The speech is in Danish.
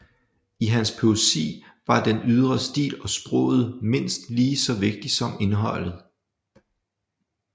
I hans poesi var den ydre stil og sproget mindst lige så vigtigt som indholdet